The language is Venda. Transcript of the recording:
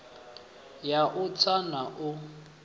ya u tsa na u